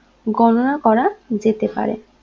গননা করা যেতে পারে